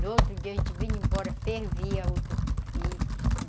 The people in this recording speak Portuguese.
No outro dia, a gente vinha embora, fervia o tucupi.